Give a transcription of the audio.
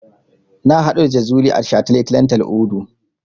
Na haɗu da Jazuli a shataletalen Tal'udu.